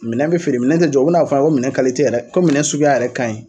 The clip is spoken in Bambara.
Minɛn bi feere minɛn ti jɔ, u bin'a f'an ye ko minɛn yɛrɛ ko minɛn suguya yɛrɛ kaɲi